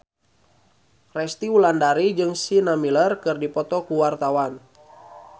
Resty Wulandari jeung Sienna Miller keur dipoto ku wartawan